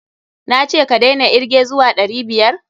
Na ce ka daina irge zuwa ɗari biyar?